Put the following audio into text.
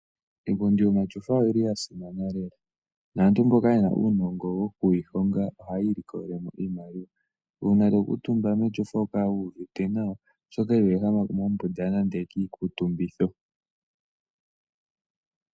Iipundi yomashofa oyi li ya simana lela naantu mboka yena uunongo woku yi honga ohaya ilikolelemo iimaliwa. Uuna wuli keshofa oho kala wu uvite nawa oshoka iho ehama mombunda nande kiikutumbitho.